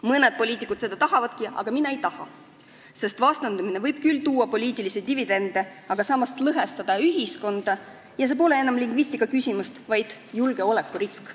Mõned poliitikud seda tahavadki, aga mina ei taha, sest vastandumine võib küll tuua poliitilisi dividende, aga samas lõhestada ühiskonda, mis pole enam lingvistikaküsimus, vaid julgeolekurisk.